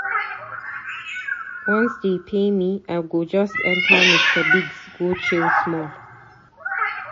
Once dey pay me, I go just enta Mr Biggs go chill small